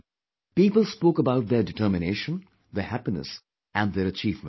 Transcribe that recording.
People spoke about their determination, their happiness and their achievements